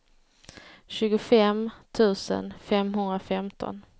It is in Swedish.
tjugofem tusen femhundrafemton